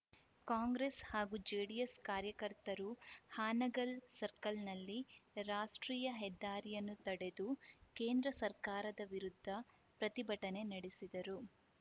ಕಾಂಗ್ರೆಸ್‌ ಹಾಗೂ ಜೆಡಿಎಸ್‌ ಕಾರ್ಯಕರ್ತರು ಹಾನಗಲ್‌ ಸರ್ಕಲ್‌ನಲ್ಲಿ ರಾಷ್ಟ್ರೀಯ ಹೆದ್ದಾರಿಯನ್ನು ತಡೆದು ಕೇಂದ್ರ ಸರ್ಕಾರದ ವಿರುದ್ಧ ಪ್ರತಿಭಟನೆ ನಡೆಸಿದರು